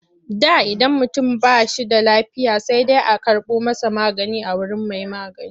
Da idan mutum ba shi da lafiya sai dai a karɓo masa magani a wurin mai magani.